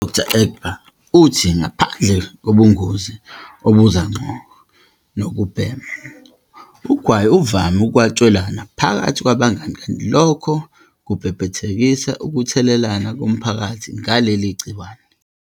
U-Dkt. u-Egbe uthi ngaphandle kobungozi obuza ngqo nokubhema, ugwayi uvame ukwatshelwana phakathi kwabangani kanti lokho kubhebhethekisa ukuthelelana komphakathi ngaleli gciwane.